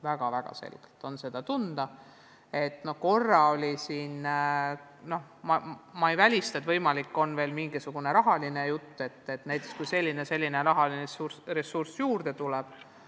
Ma ei välista, et võimalik on veel kaaluda ka mingisugust rahastamist, kui selleks rahaline ressurss juurde tuleb.